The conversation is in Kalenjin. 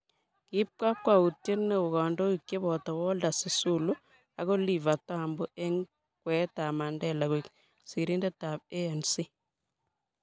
kiib kakwoutie neoo kandoik cheboto Walter Sisulu ak Oliver Tambo eng kweetab Mandela koek sirindetab A.N.C